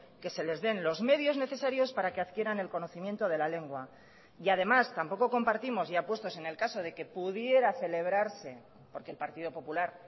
que se les den los medios necesarios para que adquieran el conocimiento de la lengua y además tampoco compartimos ya puestos en el caso de que pudiera celebrarse porque el partido popular